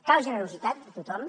cal generositat de tothom